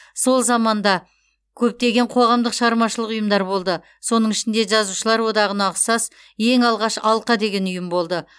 сол заманда көптеген қоғамдық шығармашылық ұйымдар болды соның ішінде жазушылар одағына ұқсас ең алғаш алқа деген ұйым болды